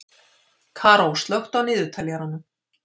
Karó, slökktu á niðurteljaranum.